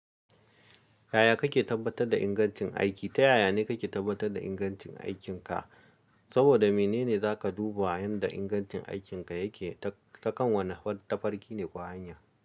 Yaya kake tabbatar da ingancin aiki? Ta yaya ne ka ke tabbatar da ingancin aikin ka? Saboda mene ne za ka duba yanda ingancin aikin ka yake ta kan wane tafarki ne ko hanya.